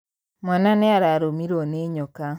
Mwana nĩararũmirwo nĩnyoka.